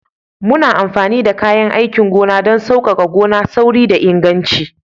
Muna amfani da kayan aikin gona don sauƙaƙa gona, sauri da inganci